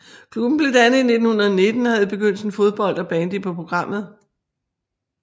Klubben blev dannet i 1919 og havde i begyndelsen fodbold og bandy på programmet